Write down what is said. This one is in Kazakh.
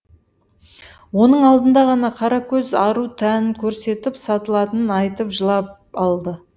оның алдында ғана қаракөз ару тәнін көрсетіп сатылатынын айтып жылап алды